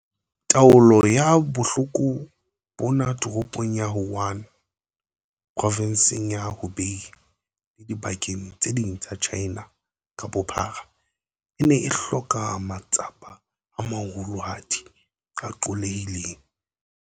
Taolo ya bohloko bona Toropong ya Wuhan, Provenseng ya Hubei le dibakeng tse ding tsa China ka bophara, e ne e hloka matsapa a maholohadi a qollehileng.